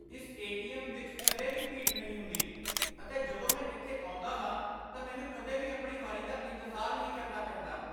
ਇਸ ਏ.ਟੀ.ਐੱਮ. ਵਿੱਚ ਕਦੇ ਵੀ ਭੀੜ ਨਹੀਂ ਹੁੰਦੀ ਅਤੇ ਜਦੋਂ ਮੈਂ ਇੱਥੇ ਆਉਂਦਾ ਹਾਂ ਤਾਂ ਮੈਨੂੰ ਕਦੇ ਵੀ ਆਪਣੀ ਵਾਰੀ ਦਾ ਇੰਤਜ਼ਾਰ ਨਹੀਂ ਕਰਨਾ ਪੈਂਦਾ।